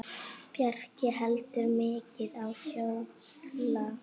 Bjarki hleypur mikið og hjólar.